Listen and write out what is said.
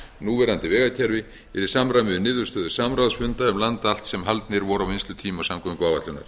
núverandi vegakerfi í samræmi við niðurstöður samráðsfunda um land allt sem haldnir voru á vinnslutíma samgönguáætlunar